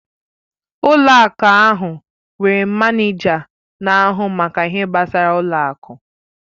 Ụlọ akụ ahụ nwere manịja na-ahụ maka ihe gbasara ụlọ akụ.